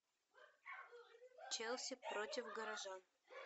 челси против горожан